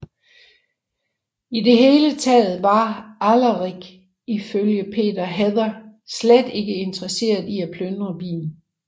I det hele taget var Alarik i følge Peter Heather slet ikke interesseret i at plyndre byen